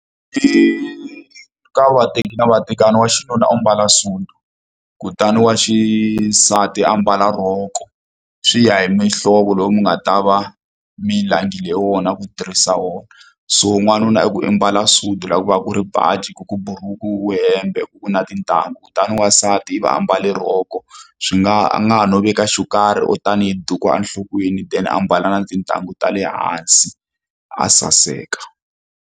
I ka vateki na vatekani wa xinuna u mbala sudu kutani wa xisati a mbala rhoko swi ya hi mihlovo lowu mi nga ta va mi langile wona ku tirhisa wona so n'wanuna i ku i mbala sudi ra ku va ku ri baji ku ku buruku ku ku hembe ku ku na tintangu kutani wansati i va ambale rhoko swi nga a nga ha no veka xo karhi or tanihi duku enhlokweni then a mbala na tintangu ta le hansi a saseka.